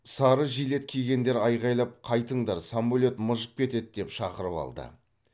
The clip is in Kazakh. сары желет кигендер айқайлап қайтыңдар самолет мыжып кетеді деп шақырып алды